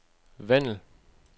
Vandel